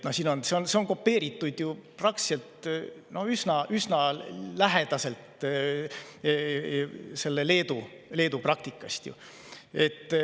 See on ju üsna kopeeritud Leedu praktikast.